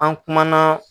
An kumana